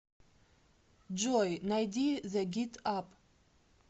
джой найди зэ гит ап